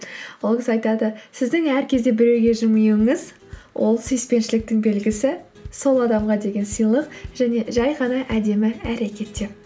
ол кісі айтады сіздің әр кезде біреуге жымиюыңыз ол сүйіспеншіліктің белгісі сол адамға деген сыйлық және жай ғана әдемі әрекет деп